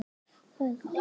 Nei, við gerðum það ekki.